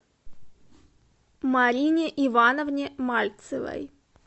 марине ивановне мальцевой